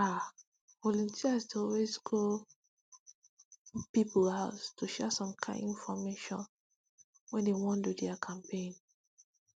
ah volunteers dey always go people house to go share some kind infomation when dey wan do their campaigns